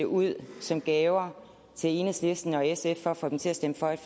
ud af som gaver til enhedslisten og sf for at få dem til at stemme for et